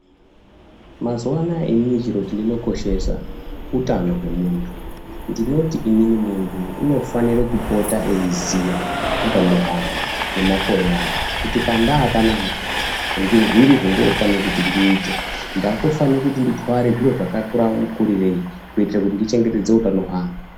Mazuva anaya inini chiro chendinokoshesa utano hwemuntu. Ndinoti inini muntu unofanire kupota eiziya utano hwake nemakore ake kuti pandaa panapa ngezviri zvandinofane kuti ndiite. Ndakufane kuti nditware zviro zvakakura mukurirei kuitire kuti ndichengetedze utano hwangu.